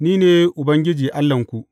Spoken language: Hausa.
Ni ne Ubangiji Allahnku.